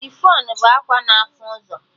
Chifọn bụ akwa na afụ ụzọ